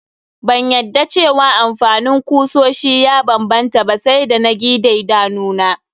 Ban yadda cewa amfanin kusoshi ya banbanta ba sai da na gi daidanuna.